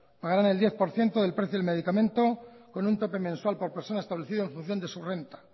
pagarán el diez por ciento del precio del medicamento con un tope mensual por persona establecido en función de su renta